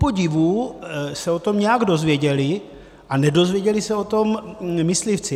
Kupodivu se o tom nějak dozvěděli, a nedozvěděli se o tom myslivci.